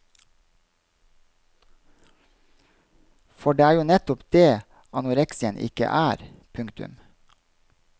For det er jo nettopp det anoreksien ikke er. punktum